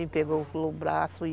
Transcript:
E pegou, pelo braço e...